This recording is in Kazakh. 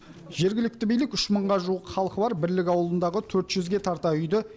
жергілікті билік үш мыңға жуық халқы бар бірлік ауылындағы төрт жүзге тарта үйді